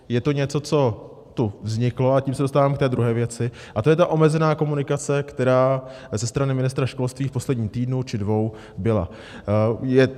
Je to něco, co tu vzniklo, a tím se dostávám k té druhé věci, a to je ta omezená komunikace, která ze strany ministra školství v posledním týdnu či dvou byla.